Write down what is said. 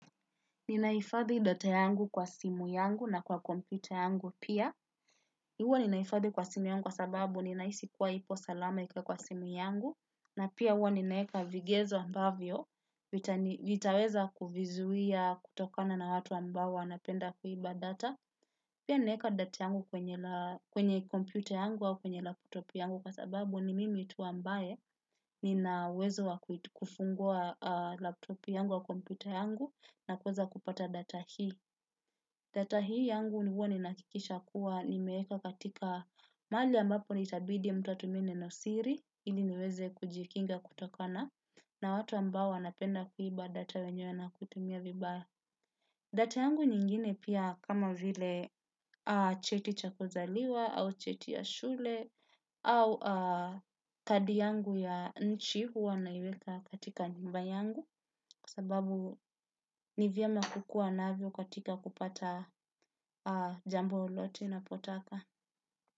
Ninahifadhi data yangu kwa simu yangu na kwa kompyuta yangu pia. Huwa ninahifadhi kwa simu yangu kwa sababu ninahisi kuwa ipo salama ikiwa kwa simu yangu. Na pia huwa ninaweka vigezo ambavyo, vitaweza kuvizuia kutokana na watu ambao wanapenda kuiba data. Pia ninaweka data yangu kwenye kompyuta yangu au kwenye laptopu yangu kwa sababu ni mimi tu ambaye ninauwezo wa kufungua laptopu yangu wa kompyuta yangu na kuweza kupata data hii. Data hii yangu ni huwa ninahakikisha kuwa nimeweka katika mahali ambapo itabidi mtu atumie neno siri ili niweze kujikinga kutokana na watu ambao wanapenda kuiba data wenyewe na kutumia vibaya. Data yangu nyingine pia kama vile cheti cha kuzaliwa au cheti ya shule au kadi yangu ya nchi huwa naiweka katika nyumba yangu. Kwa sababu ni vyema kukuwa nazo katika kupata jambo lolote unapotaka.